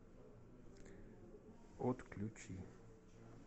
отключи